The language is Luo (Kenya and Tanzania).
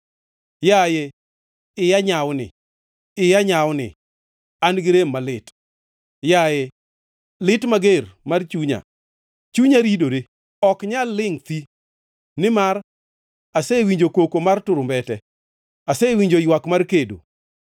Yaye, iya nyawni, iya nyawni! An gi rem malit. Yaye, lit mager mar chunya! Chunya ridore, ok nyal lingʼ thi. Nimar asewinjo koko mar turumbete; asewinjo ywak mar kedo.